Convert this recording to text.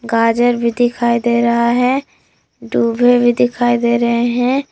गाजर भी दिखाई दे रहा है दुबे भी दिखाई दे रहे हैं।